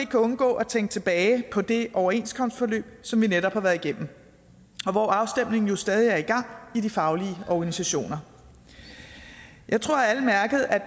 kan undgå at tænke tilbage på det overenskomstforløb som vi netop har været igennem og hvor afstemningen jo stadig er i gang i de faglige organisationer jeg tror at alle mærkede at